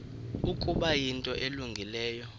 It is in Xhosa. ukuba yinto elungileyo